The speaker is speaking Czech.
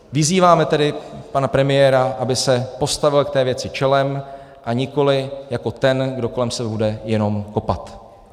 Vyzýváme tedy pana premiéra, aby se postavil k té věci čelem a nikoli jako ten, kdo kolem sebe bude jenom kopat.